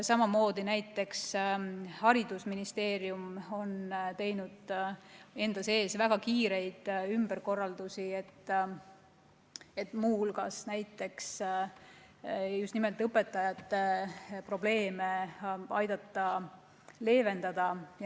Ka Haridus- ja Teadusministeerium on teinud enda sees väga kiireid ümberkorraldusi, et muu hulgas aidata just nimelt õpetajate probleeme leevendada.